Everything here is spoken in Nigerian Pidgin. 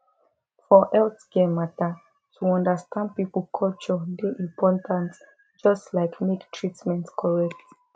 for healthcare matter to understand people culture dey important just like make treatment correct